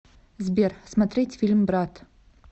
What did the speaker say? сбер смотреть фильм брат